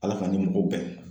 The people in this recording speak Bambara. Ala k'an ni mɔgɔw bɛn